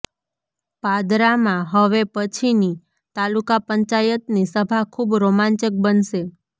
પાદરામાં હવે પછીની તાલુકા પંચાયતની સભા ખુબ રોમાંચક બનશે